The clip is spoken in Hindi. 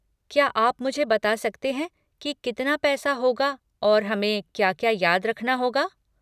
क्या आप मुझे बता सकते हैं कि कितना पैसा होगा और हमें क्या क्या याद रखना होगा?